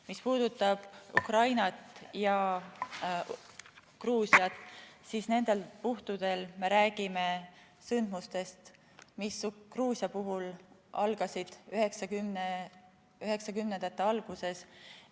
Mis puudutab Ukrainat ja Gruusiat, siis nendel puhkudel me räägime sündmustest, mis Gruusia puhul algasid 1990-ndate alguses.